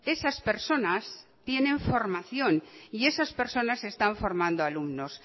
esas personas tienen formación y esas personas están formando a alumnos